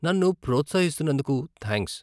నన్ను ప్రోత్సహిస్తున్నందుకు థాంక్స్.